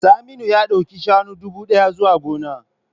Saminu ya dauki shanu dubu daya zuwa gona.